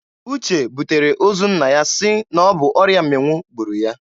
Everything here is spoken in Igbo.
Uche butere ozu nna ya sị na ọ bụ ọrịa mmịnwụ gburu ya.